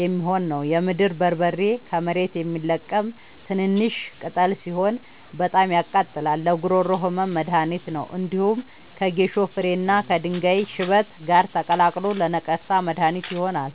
የሚሆን ነው። የምድር በርበሬ ከመሬት የሚለቀም ትንሽሽ ቅጠል ሲሆን በጣም ያቃጥላል ለጉሮሮ ህመም መድሀኒት ነው። እንዲሁም ከጌሾ ፍሬ እና ከድንጋይ ሽበት ጋር ተቀላቅሎ ለነቀርሳ መድሀኒት ይሆናል።